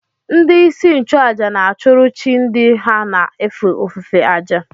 Ndị isi nchụàjà na-achụrụ chi ndị ha na-efe ofufe àjà